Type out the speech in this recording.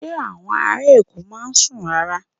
Ṣé àwọn ará Èkó máa ń sùn rárá?